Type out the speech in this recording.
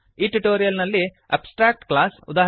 ಈ ಟ್ಯುಟೋರಿಯಲ್ ನಲ್ಲಿ abstract class ಉದಾ